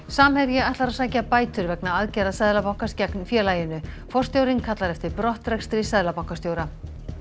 samherji ætlar að sækja bætur vegna aðgerða Seðlabankans gegn félaginu forstjórinn kallar eftir brottrekstri seðlabankastjóra